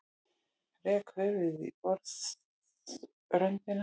Rek höfuðið í borðröndina.